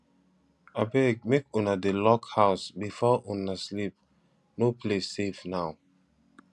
abeg make una dey lock house before una sleep no place safe now